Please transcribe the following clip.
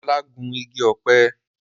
Ọlá gún igi ọ̀pẹ